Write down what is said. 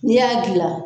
N'i y'a gilan